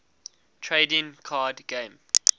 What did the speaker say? trading card game